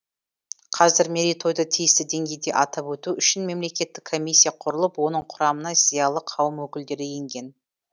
қазір мерейтойды тиісті деңгейде атап өту үшін мемлекеттік комиссия құрылып оның құрамына зиялы қауым өкілдері енген